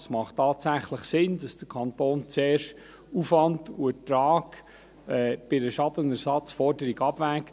Es macht tatsächlich Sinn, dass der Kanton zuerst Aufwand und Ertrag bei einer Schadenersatzforderung abwägt.